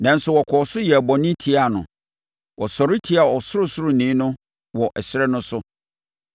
Nanso, wɔkɔɔ so yɛɛ bɔne tiaa no, wɔsɔre tiaa Ɔsorosoroni no wɔ ɛserɛ no so.